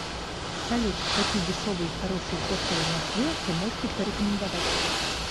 салют какие дешевые и хорошие хостелы в москве вы можете порекомендовать